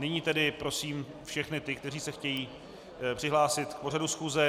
Nyní tedy prosím všechny ty, kteří se chtějí přihlásit k pořadu schůze.